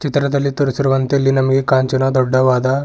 ಚಿತ್ರದಲ್ಲಿ ತೋರಿಸೀರುವಂತೆ ಇಲ್ಲಿ ನಮಗೆ ಕಾಂಚಿನ ದೊಡ್ಡವಾದ-